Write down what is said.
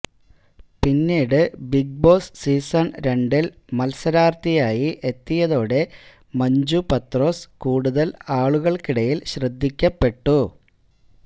പിന്നീട് Big Boss season രണ്ടിൽ മത്സരാർത്ഥിയായി എത്തിയതോടെ മഞ്ജു പത്രോസ് കൂടുതൽ ആളുകൾക്കിടയിൽ ശ്രദ്ധിക്കപ്പെട്ടു